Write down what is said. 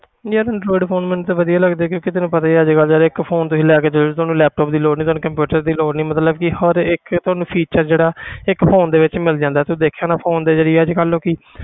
ਯਾਰ android phone ਮੈਨੂੰ ਤੇ ਵਧੀਆ ਲੱਗਦੇ ਕਿਉਂਕਿ ਤੈਨੂੰ ਪਤਾ ਹੀ ਆ ਅੱਜ ਕੱਲ੍ਹ ਯਾਰ ਇੱਕ phone ਤੁਸੀਂ ਲੈ ਕੇ ਦੇਖ ਲਓ ਤੁਹਾਨੂੰ laptop ਦੀ ਲੋੜ ਨੀ ਤੈਨੂੰ computer ਦੀ ਲੋੜ ਨੀ ਮਤਲਬ ਕਿ ਹਰ ਇੱਕ ਤੁਹਾਨੂੰ feature ਜਿਹੜਾ ਇੱਕ phone ਦੇ ਵਿੱਚ ਮਿਲ ਜਾਂਦਾ ਤੂੰ ਦੇਖਿਆ ਹੋਣਾ phone ਤੇ ਜਿਹੜੀ ਅੱਜ ਕੱਲ੍ਹ ਲੋਕੀ